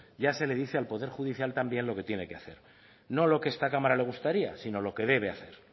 ya se le dice al poder judicial también lo que tiene que hacer no lo que a esta cámara le gustaría sino lo que debe hacer